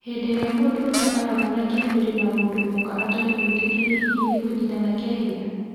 Hĩndĩ ĩrĩa mũndũrũme ara-onana kĩmwĩrĩ na mũndũ mũka atarĩ mũĩtĩkĩrĩe hihi nĩ kũnyitana kĩa hinya.